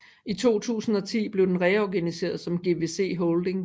I 2010 blev den reorganiseret som GVC Holdings